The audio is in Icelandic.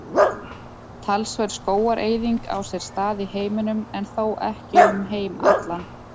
Talsverð skógareyðing á sér stað í heiminum en þó ekki um heim allan.